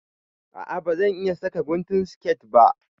A'a ba zan iƴa saka guntun siket ba.